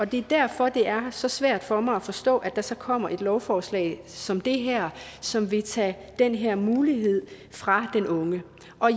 det er derfor det er så svært for mig at forstå at der så kommer et lovforslag som det her som vil tage den her mulighed fra den unge